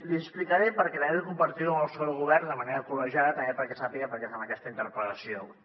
li explicaré perquè també vull compartir ho amb el seu govern de manera col·legiada també perquè sàpiga per què fem aquesta interpel·lació avui